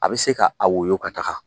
A bɛ se k'a wolo ka taga